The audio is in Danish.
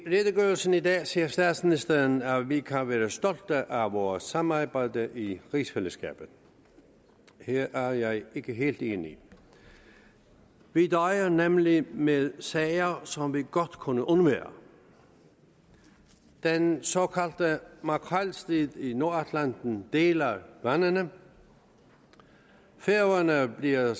redegørelsen i dag siger statsministeren at vi kan være stolte af vores samarbejde i rigsfællesskabet her er jeg ikke helt enig vi døjer nemlig med sager som vi godt kunne undvære den såkaldte makrelstrid i nordatlanten deler vandene færøerne bliver